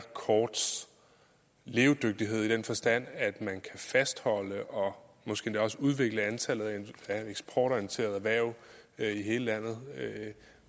korts levedygtighed i den forstand at man kan fastholde og måske endda også udvikle antallet af eksportorienterede erhverv i hele landet